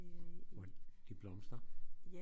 Hvor de blomstrer